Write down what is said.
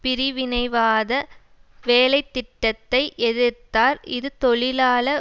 பிரிவினைவாத வேலை திட்டத்தை எதிர்த்தார் இது தொழிலாள